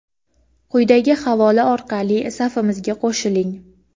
quyidagi havola orqali safimizga qo‘shiling.